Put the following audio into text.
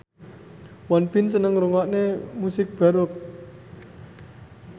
Won Bin seneng ngrungokne musik baroque